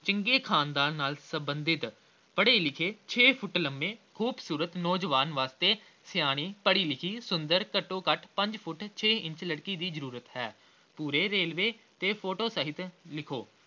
ਚੰਗੇ ਖ਼ਾਨਦਾਨ ਨਾਲ ਸਬੰਧਿਤ ਪੜ੍ਹੇ-ਲਿਖੇ ਛੇ ਫੁੱਟ ਲੰਮੇ ਖ਼ੂਬਸੂਰਤ ਨੋਜਵਾਨ ਵਾਸਤੇ, ਸਿਆਣੀ ਪੜ੍ਹੀ-ਲਿਖੀ ਸੁੰਦਰ ਘੱਟੋ-ਘੱਟ ਪੰਜ ਫੁੱਟ ਛੇ ਇੰਚ ੜਕੀ ਦੀ ਜ਼ਰੂਰਤ ਹੈ ਪੂਰੇ ਵੇਰਵੇ ਤੇ ਫੋਟੋ ਸਹਿਤ ਲਿਖੋ।